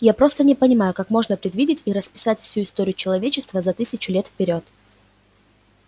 я просто не понимаю как можно предвидеть и расписать всю историю человечества за тысячу лет вперёд